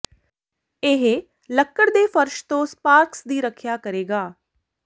ਇਹ ਲੱਕੜ ਦੇ ਫਰਸ਼ ਤੋਂ ਸਪਾਰਕਸ ਦੀ ਰੱਖਿਆ ਕਰੇਗਾ